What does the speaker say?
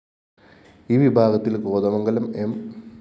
ഈ വിഭാഗത്തില്‍ കോതമംഗലം എം